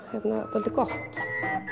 dálítið gott